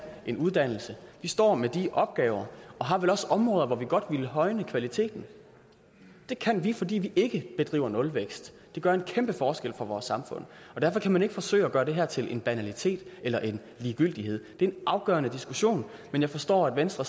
en uddannelse vi står med de opgaver og har vel også områder hvor vi godt vil højne kvaliteten det kan vi gøre fordi vi ikke bedriver nulvækst det gør en kæmpe forskel for vores samfund og derfor kan man ikke forsøge at gøre det her til en banalitet eller en ligegyldighed det er en afgørende diskussion men jeg forstår at venstre